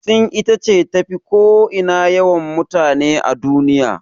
Sin ita ce tafi ko ina yawan mutane a duniya.